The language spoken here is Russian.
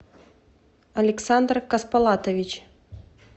александр косполатович